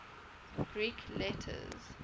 greek letters